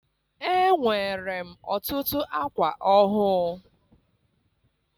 Enwere m ọtụtụ akwa ọhụụ.